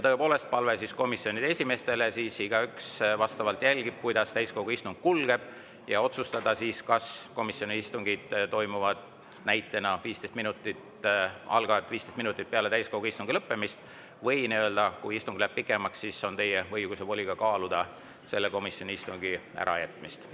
Tõepoolest on palve komisjonide esimeestele, et igaüks jälgiks, kuidas täiskogu istung kulgeb, ja otsustaks siis, kas komisjoni istung algab näiteks 15 minutit peale täiskogu istungi lõppemist, või kui istung läheb pikemaks, siis on teie õigus ja voli kaaluda ka komisjoni istungi ärajätmist.